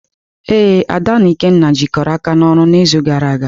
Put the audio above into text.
Ee, Ada na Ikenna jikọrọ aka n'ọrụ n'izu gara aga.